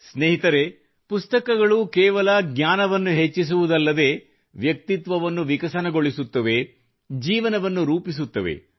ಸ್ನೇಹಿತರೆ ಪುಸ್ತಕಗಳು ಕೇವಲ ಜ್ಞಾನವನ್ನು ಹೆಚ್ಚಿಸುವುದಲ್ಲದೇ ವ್ಯಕ್ತಿತ್ವವನ್ನು ವಿಕಸನಗೊಳಿಸುತ್ತದೆ ಜೀವನವನ್ನು ರೂಪಿಸುತ್ತದೆ